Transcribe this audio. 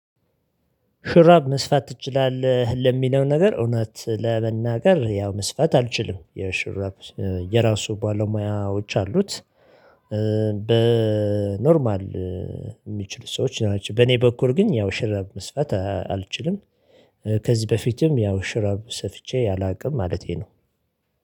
ሹራብ መስፋት ትችላለህ? ለሚለው ነገር እውነት ለመናገር ያው መስፋት አልችልም የሹራብ የራሱ ባለሙያዎች አሉት። በኖርማል የሚችሉ ሰዎች ናቸው። በኔ በኩል ግን ያው ሹራብ መስፋት አልችልም። ከዚህ በፊትም ያው ሹራብ ሰፍቼ አላውቅም ማለቴ ነው።